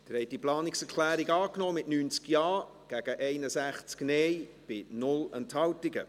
Sie haben die Planungserklärung 1 angenommen, mit 90 Ja- gegen 61 Nein-Stimmen bei 0 Enthaltungen.